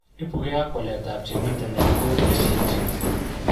Ipuge ag waletap chemiten en OTC gene.